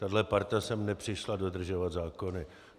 Tahle parta sem nepřišla dodržovat zákony.